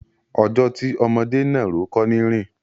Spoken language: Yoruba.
Ọjọ́ tí ọmọdé náàró kọ́ ni í rìn.